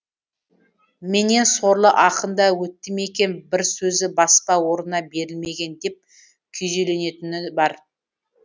менен сорлы ақын да өтті ме екен бір сөзі баспа орнына берілмеген деп күйзелетіні бар